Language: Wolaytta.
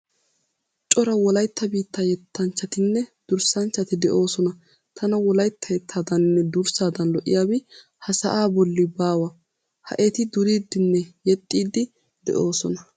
Cora wolaytta biittaa yettanchchatinne durssanchchati de'oosan tana wolaytta yettaadaaninne durssaadan lo"iyabi ha sa'aa bolli baawa. Ha eti duriiddinne yexxiiddi de'oosona.